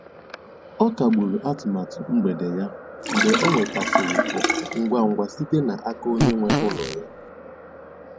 Ọ kagburu atụmatụ mgbede ya mgbe ọ nwetasịrị oku ngwa ngwa site n'aka onye nwe ụlọ ya.